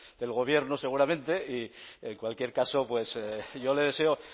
del gobierno seguramente y en cualquier caso pues yo le deseo